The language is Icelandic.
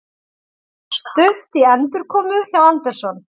Stutt í endurkomu hjá Anderson